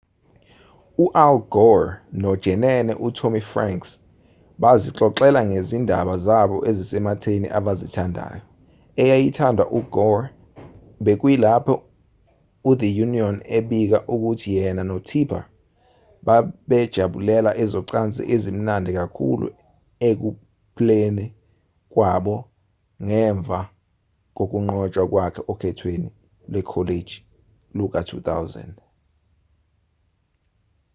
u-al gore nojenene u-tommy franks bazixoxela ngezindaba zabo ezisematheni abazithandayo eyayithandwa u-gore bekuyilapho u-the onion ebika ukuthi yena no-tipper babejabulela ezocansi ezimnandi kakhulu ekuphleni kwabo ngemva kokunqotshwa kwakhe okhethweni lwekholeji luka-2000